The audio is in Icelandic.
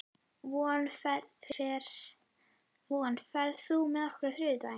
Von, ferð þú með okkur á þriðjudaginn?